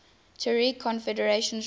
tuareg confederations ruled